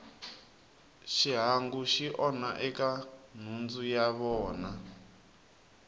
xihangu xi onha eka nhundzu ya vona